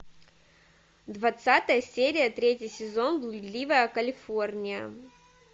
двадцатая серия третий сезон блудливая калифорния